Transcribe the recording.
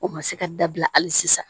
O ma se ka dabila hali sisan